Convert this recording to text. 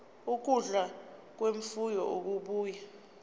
ukudla kwemfuyo okubuya